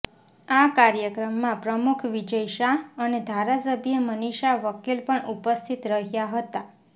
આ કાર્યક્રમમાં પ્રમુખ વિજય શાહ અને ધારાસભ્ય મનીષા વકીલ પણ ઉપસ્થિત રહ્યા હતા